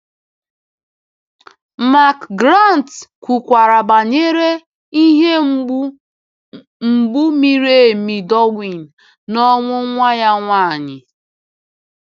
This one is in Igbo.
McGrath kwukwara banyere “ ihe mgbu mgbu miri emi Darwin n’ọnwụ nwa ya nwanyị. ”